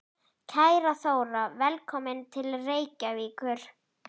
Kæra Þóra. Velkomin til Reykjavíkur.